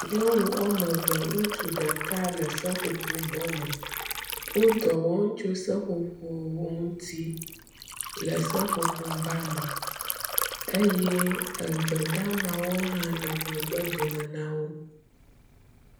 Nyɔnu wɔme eve ŋutsu ɖeka le seƒoƒo bɔ me. Wo dɔ wɔm tso seƒoƒo wo ŋuti le seƒoƒo ba me eye egbe hã le megbe dome na wo.